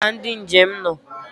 Ebee ka ndị njem nọ?